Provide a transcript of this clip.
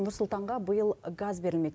нұрсұлтанға биыл газ берілмек